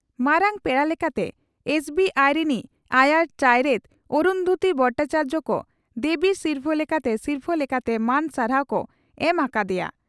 ᱢᱟᱨᱟᱝ ᱯᱮᱲᱟ ᱞᱮᱠᱟᱛᱮ ᱮᱥᱹᱵᱤᱹᱟᱭᱤᱹ ᱨᱤᱱᱤᱡ ᱟᱭᱟᱨ ᱪᱟᱣᱨᱮᱛ ᱚᱨᱩᱱᱫᱷᱚᱛᱤ ᱵᱷᱚᱴᱟᱪᱟᱨᱭᱚ ᱠᱚ ᱫᱮᱵᱤ ᱥᱤᱨᱯᱷᱟᱹ ᱞᱮᱠᱟᱛᱮ ᱥᱤᱨᱯᱷᱟᱹ ᱞᱮᱠᱟᱛᱮ ᱢᱟᱹᱱ ᱥᱟᱨᱦᱟᱣ ᱠᱚ ᱮᱢ ᱟᱠᱟ ᱟᱫᱮᱭᱟ ᱾